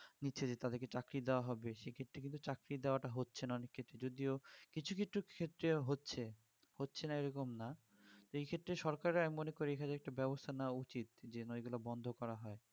নিচ্ছে যে তাদেরকে চাকরি দেওয়া হবে সেক্ষেত্রে কিন্তু চাকরি দেওয়া টা হচ্ছে না অনেকক্ষেত্রে যদিও কিছু কিছু ক্ষেত্রে হচ্ছে হচ্ছেনা এরকম না এক্ষেত্রে সরকারের আমি মনে করি যে একটা ব্যবস্থা নেওয়া উচিত যে না এইগুলো বন্ধ করা হোক